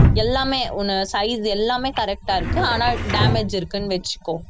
எல்லாமே உன்ன size எல்லாமே correct ஆ இருக்கு ஆனா damage இருக்குன்னு வச்சுக்கோ